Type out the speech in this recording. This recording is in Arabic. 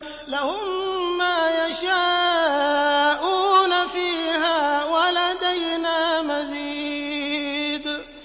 لَهُم مَّا يَشَاءُونَ فِيهَا وَلَدَيْنَا مَزِيدٌ